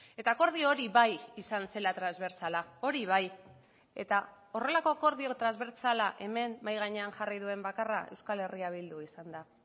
eta akordio hori bai izan zela transbertsala hori bai eta horrelako akordio transbertsala hemen mahai gainean jarri duen bakarra euskal herria bildu izan da